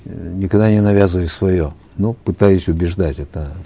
эээ никогда не навязываю свое но пытаюсь убеждать это